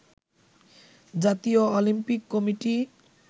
জাতীয় Olympic committee